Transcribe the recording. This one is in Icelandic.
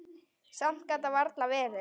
Samt gat það varla verið.